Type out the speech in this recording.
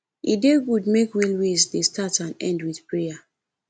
e dey good make wealways dey start and end with prayer